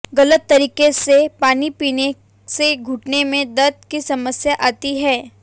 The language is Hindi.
गलत तरीके से पानी पीने से घुटने में दर्द की समस्या आती है